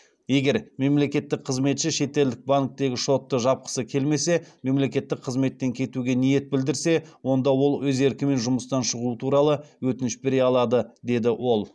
егер мемлекеттік қызметші шетелдік банктегі шотты жапқысы келмесе мемлекеттік қызметтен кетуге ниет білдірсе онда ол өз еркімен жұмыстан шығу туралы өтініш бере алады деді ол